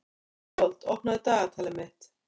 Ísold, opnaðu dagatalið mitt.